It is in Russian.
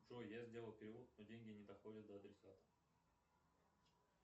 джой я сделал перевод но деньги не доходят до адресата